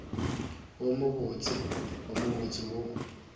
wo mobotse wo mobose wo